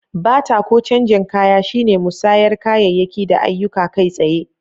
Bata ko canjen kaya shine musayar kayayyaki da ayyuka kai tsaye.